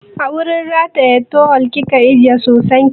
A wurin rataye tawal kika rataye soson ki?